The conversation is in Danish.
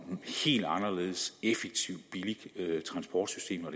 helt anderledes effektive og billige transportsystemer